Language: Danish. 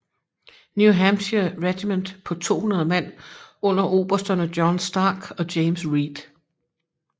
New Hampshire regiment på 200 mand under obersterne John Stark og James Reed